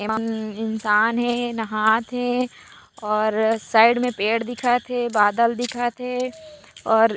एमा मम्म इंसान हे नहात हे और साइड में पेड़ दिखत हे बादल दिखत हे और--